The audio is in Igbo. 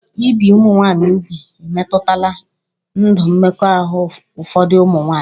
Ibi ụmụ nwaanyị úgwù emetụtala ndụ mmekọahụ ụfọdụ ụmụ nwaanyị